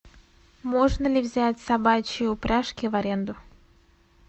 можно ли взять собачьи упряжки в аренду